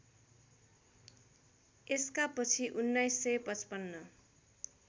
यसका पछि १९५५